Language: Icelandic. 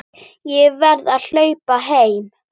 Ég verð að hlaupa heim.